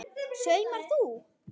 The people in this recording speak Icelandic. Saumar þú?